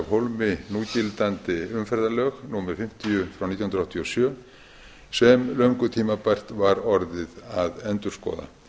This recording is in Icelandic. hólmi núgildandi umferðarlög númer fimmtíu nítján hundruð áttatíu og sjö sem löngu tímabært var orðið að endurskoða